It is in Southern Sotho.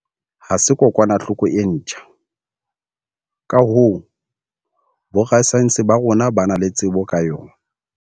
Ha se kokwanahloko e ntjha, ka hoo, borasaense ba rona ba na le tsebo ka yona.